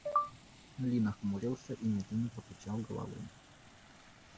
ли нахмурился и медленно покачал головой